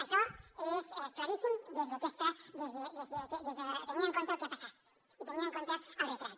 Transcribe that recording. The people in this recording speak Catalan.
això és claríssim tenint en compte el que ha passat i tenint en compte el retrat